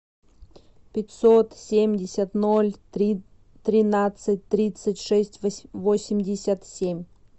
пятьсот семьдесят ноль три тринадцать тридцать шесть восемьдесят семь